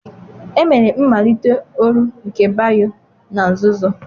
Emere mmalite oru nke Bayo na nzuzo.